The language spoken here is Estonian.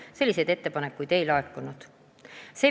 Selliseid ettepanekuid ei laekunud.